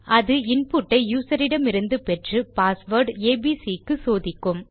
அது இன்புட் ஐ யூசர் இடமிருந்து பெற்று பாஸ்வேர்ட் ஏபிசி க்கு சோதிக்கும்